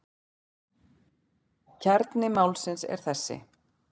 Kjarni málsins er þessi.